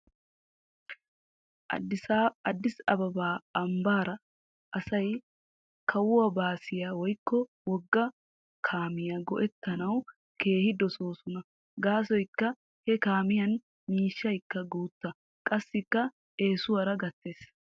Addis ababa ambaara asay kawuwaa baasiyaa woykko wogga keemiya go'ettanawu keehi dosoosona gaasoykka he kaamiyan miishshaykka guuta qassikka eesuwaara gattes.